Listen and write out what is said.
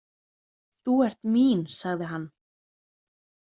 Þú ert mín, sagði hann.